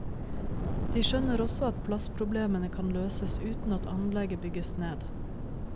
De skjønner også at plassproblemene kan løses uten at anlegget bygges ned.